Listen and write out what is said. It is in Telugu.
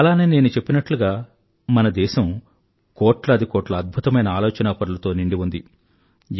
అలానే నేను చెప్పినట్లుగా మన దేశం కోట్లాదికోట్ల అద్భుతమైన ఆలోచనాపరులతో నిండి ఉంది